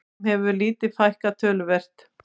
Þeim hefur líka fækkað töluvert